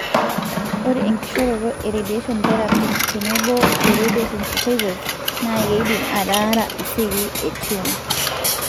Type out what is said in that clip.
ore enkishoroto e radiation therapy nenebo o radiosensitizers na kidim ataraa iseli e tumor.